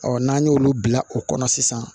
n'an y'olu bila o kɔnɔ sisan